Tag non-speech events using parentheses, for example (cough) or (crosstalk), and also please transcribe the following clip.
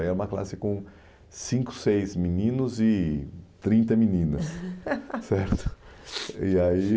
Aí era uma classe com cinco, seis meninos e trinta meninas, (laughs) certo? E aí